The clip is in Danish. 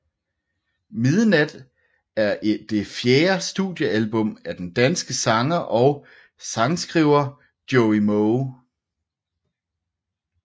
Midnat er et det fjerde studiealbum af den danske sanger og sangskriver Joey Moe